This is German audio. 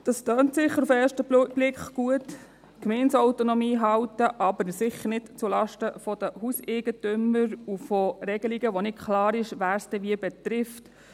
Es tönt sicher auf den ersten Blick gut, die Gemeindeautonomie zu halten, aber sicher nicht zulasten der Hauseigentümer und von Regelungen, bei welchen nicht klar ist, wen sie wie betreffen.